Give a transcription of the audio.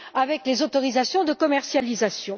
avec les autorisations de commercialisation.